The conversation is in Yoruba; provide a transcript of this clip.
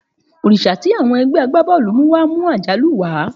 Òrìṣà tí àwọn ẹgbẹ́ agbábọ́ọ̀lù mú wá mú àjálù wá.